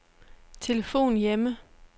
telefon hjemme